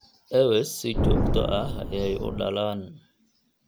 Ewes si joogto ah ayey u dhalaan.